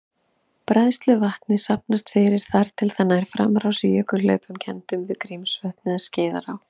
Bræðsluvatnið safnast fyrir þar til það nær framrás í jökulhlaupum kenndum við Grímsvötn eða Skeiðará.